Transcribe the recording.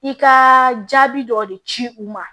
I ka jaabi dɔ de ci u ma